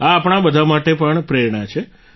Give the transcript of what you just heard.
આ આપણા બધા માટે પણ પ્રેરણા છે